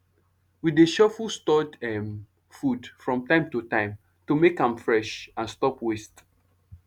we dey shuffle stored um food from time to time to make am fresh and stop waste